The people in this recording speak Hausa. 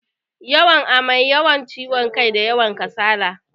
Yawan amai, yawan kiwon kai, da yawan kasala.